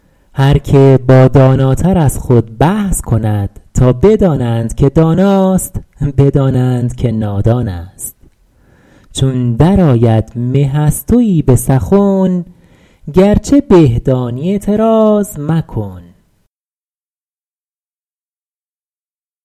هر که با داناتر از خود بحث کند تا بدانند که داناست بدانند که نادان است چون در آید مه از تویی به سخن گرچه به دانی اعتراض مکن